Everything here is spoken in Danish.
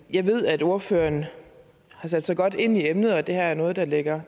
jeg ved at ordføreren har sat sig godt ind i emnet og at det her er noget der ligger